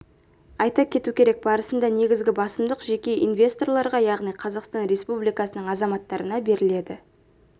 айта кету керек барысында негізгі басымдық жеке инвесторларға яғни қазақстан республикасының азаматтарына беріледі